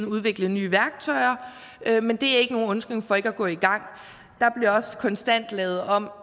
udvikle nye værktøjer men det er ikke nogen undskyldning for ikke at gå i gang der bliver også konstant lavet om